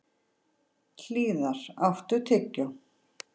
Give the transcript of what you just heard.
Hlíðar, áttu tyggjó?